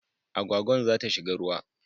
Agwagwan za ta shiga ruwa